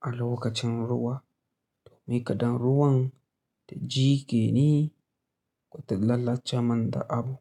a lokacin ruwa domin kaɗa ruwan ta jiƙe ni, kuma ta lalace man da abu.